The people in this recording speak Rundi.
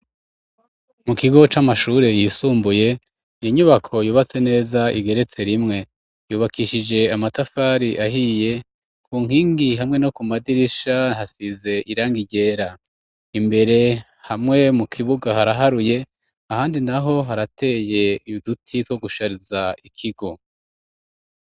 Mu kigo c'amashuri yisumbuye inyubako yubatse neza, igeretse rimwe yubakishije amatafari ahiye, ku nkingi hamwe no ku madirisha hasize irangi ryera, imbere hamwe mu kibuga haraharuye ahandi naho harateye Uduti two gushariza ikigo.